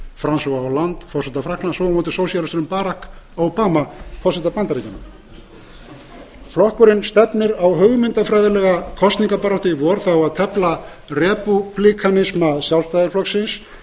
sósíalistanum françois hollande forseta frakklands og sósíalistanum barack obama forseta bandaríkjanna flokkurinn stefnir á hugmyndafræðilega kosningabaráttu í vor þar á að tefla repúblikanisma sjálfstæðisflokksins